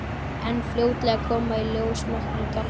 En fljótlega koma í ljós nokkrir gallar.